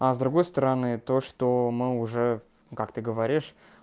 а с другой стороны то что мы уже как ты говоришь